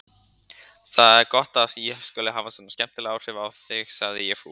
Það er gott að ég skuli hafa svona skemmtileg áhrif á þig sagði ég fúl.